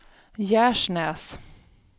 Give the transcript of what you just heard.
Gärsnäs